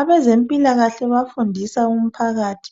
Abezempilakahle bayafundisa umphakathi